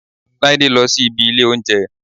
Láídé lọ sí ibi ilé óúnjẹ